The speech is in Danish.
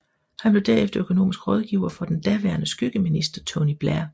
Han blev derefter økonomisk rådgiver for den daværende skyggefinansminister Tony Blair